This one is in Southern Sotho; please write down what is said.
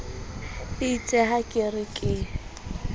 eitse ha ke re ke